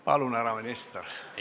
Palun, härra minister!